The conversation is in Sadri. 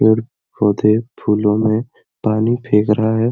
पेड़-पौधे फूलो में पानी फेंक रहा है।